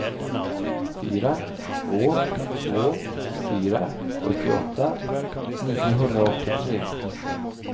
fyra två två fyra sjuttioåtta niohundraåttiotre